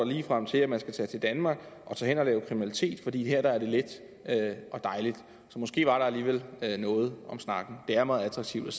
ligefrem til at man skal tage til danmark og lave kriminalitet fordi her er det let og dejligt så måske var der alligevel noget om snakken det er meget attraktivt